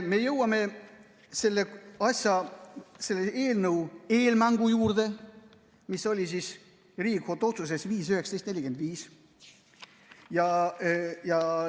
Me jõuame selle eelnõu eelmängu juurde, mis oli Riigikohtu otsuses 5-19-45.